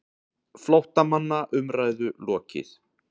FLÓTTAMANNA UMRÆÐU LOKIÐ